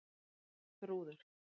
Þrúður